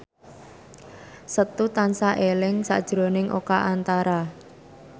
Setu tansah eling sakjroning Oka Antara